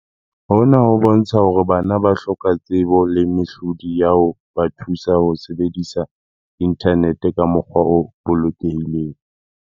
Hona ho bontsha hore bana ba hloka tsebo le mehlodi ya ho ba thusa ho sebedisa inthanete ka mokgwa o bolokelehileng.